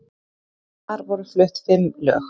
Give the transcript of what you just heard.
Þar voru flutt fimm lög